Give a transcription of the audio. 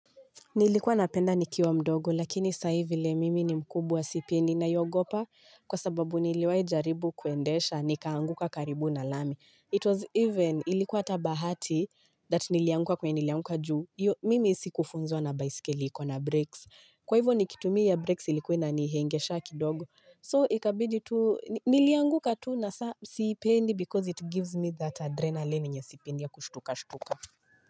Nilikuwa napenda nikiwa mdogo lakini saa hi vile mimi ni mkubwa sipendi naiogopa kwa sababu niliwahi jaribu kuendesha nikaanguka karibu na lami. It was even ilikuwa hata bahati that nilianguka kwenye nilianguka juu hiyo Mimi sikufunzwa na baiskeli iko na brakes. Kwa hivyo nikitumia brakes ilikuwa inanihangaisha kidogo. So ikabidi tu nilianguka tu na siipendi because it gives me that adrenaline yenye sipendi ya kushtukashtuka.